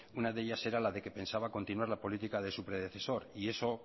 una de ellas era la de que pensaba continuar la política de su predecesor y eso